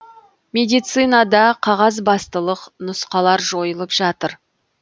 медицинада қағазбастылық нұсқалар жойылып жатыр